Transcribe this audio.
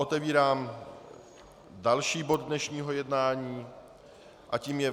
Otevírám další bod dnešního jednání a tím je